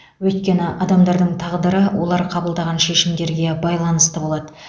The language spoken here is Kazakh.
өйткені адамдардың тағдыры олар қабылдаған шешімдерге байланысты болады